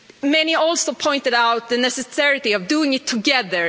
Many also pointed out the necessity of doing it together.